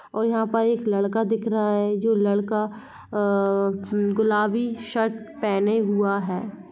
और यहाँ पर एक लड़का दिख रहा है जो लड़का अ गुलाबी शर्ट पहने हुआ है।